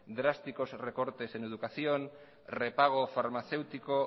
drásticos recortes en educación repago farmacéutico